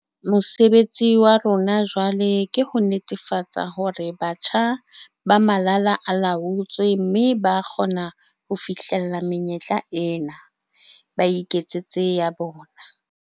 Mosebetsi wa rona jwale ke ho netefatsa hore batjha ba malala a laotswe mme ba kgona ho fihlella menyetla ena, ba iketsetse ya bona.